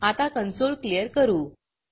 आता console clear करू